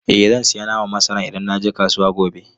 Eh zan sayi naman masara idan na je kasuwa gobe.